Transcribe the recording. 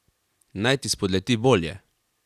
Naj ti spodleti bolje.